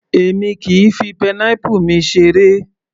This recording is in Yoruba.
Èmi kìí fi pineapple mi seré